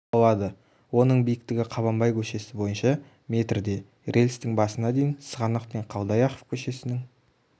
болады оның биіктігі қабанбай көшесі бойынша метр де рельстің басына дейін сығанақ пен қалдаяқов көшесінің